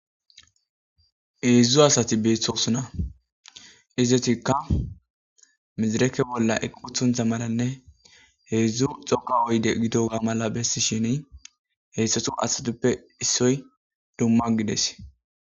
Hedzdzu asatti beetosona.ezzetika, medrekke bolla uqqotontta malanne heedzdzu dhoqqa oydde gidogga mala bessishin heyssetu asatuppe issoy dumma gidees.